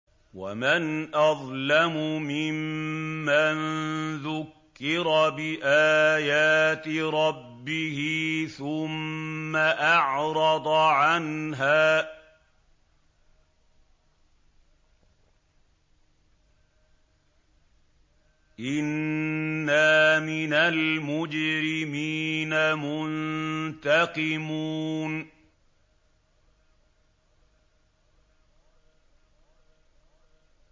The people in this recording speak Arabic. وَمَنْ أَظْلَمُ مِمَّن ذُكِّرَ بِآيَاتِ رَبِّهِ ثُمَّ أَعْرَضَ عَنْهَا ۚ إِنَّا مِنَ الْمُجْرِمِينَ مُنتَقِمُونَ